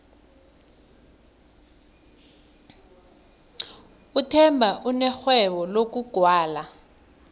uthemba unerhwebo lokugwala